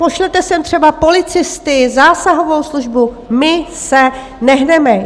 Pošlete sem třeba policisty, zásahovou službu, my se nehneme.